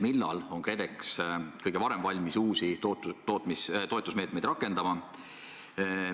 Millal on KredEx kõige varem valmis uusi toetusmeetmeid rakendama?